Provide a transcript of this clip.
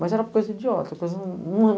Mas era coisa idiota.